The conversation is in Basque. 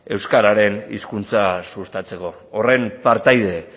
euskararen hizkuntza sustatzeko horren partaide